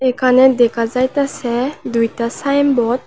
এখানে দেখা যাইতেছে দুইটা সাইনবোর্ড ।